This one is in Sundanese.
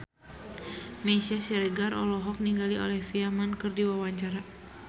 Meisya Siregar olohok ningali Olivia Munn keur diwawancara